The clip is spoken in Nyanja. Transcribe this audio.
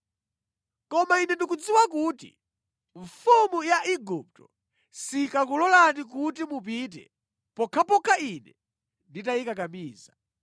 Koma Ine ndikudziwa kuti mfumu ya Igupto sikakulolani kuti mupite pokhapokha Ine nditayikakamiza.